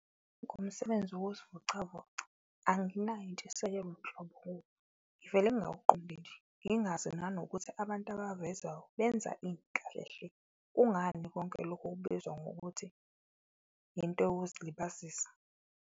Ngomsebenzi wokuzivocavoca anginayo intshisekelo nhlobo kuwo, ngivele ngingawuqondi nje ngingazi nanokuthi abantu ababavezayo benza ini kahlehle. Kungani konke lokhu kubizwa ngokuthi into yokuzilibazisa.